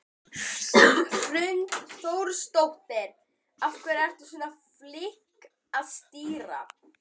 Hrund Þórsdóttir: Af hverju ertu svona flink að stýra?